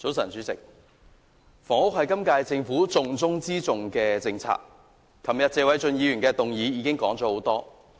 早晨，主席，房屋是今屆政府"重中之重"的政策，昨天議員已就謝偉俊議員的議案說了很多。